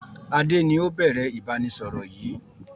Adé ni ó bẹ̀rẹ̀ ìbánisọọ̀rọ̀ yìí